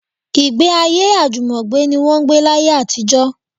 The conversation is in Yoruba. Ìgbéayé àjùmọ̀gbé ní wọ́n ń gbé láyé àtijọ́